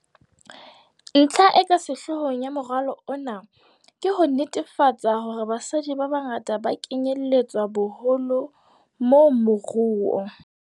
Ntlha e ka sehlohlolong ya moralo ona ke ho netefatsa hore basadi ba bangata ba kenyeletswa boholo mo moruo.